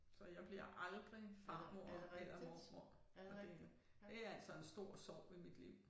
Så jeg bliver aldrig farmor eller mormor og det det altså en stor sorg i mit liv